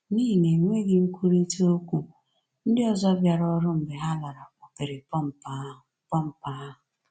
N’ihi enweghị nkwurịta okwu, ndị ọzọ bịara ọrụ mgbe ha lara kpọpere pọmpụ ahụ. pọmpụ ahụ.